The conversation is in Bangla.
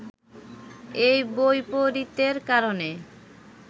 এই বৈপরীত্যের কারণে